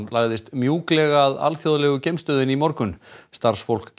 lagðist mjúklega að alþjóðlegu geimstöðinni í morgun starfsfólk